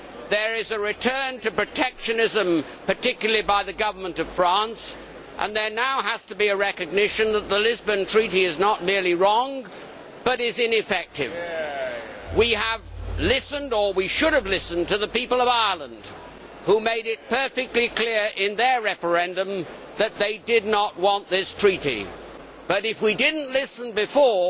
there is a return to protectionism, particularly by the Government of France, and there now has to be a recognition that the Lisbon Treaty is not merely wrong but is ineffective. We have listened or we should have listened to the people of Ireland, who made it perfectly clear in their referendum that they did not want this Treaty. But, if we did not listen before,